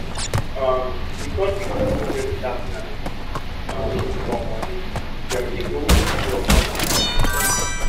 um because di group no get better plan um for money dem dey always withdraw from account anyhow